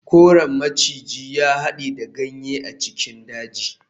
Koren maciji ya hade da ganye a cikin dajin.